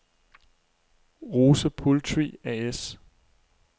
Rose Poultry A/S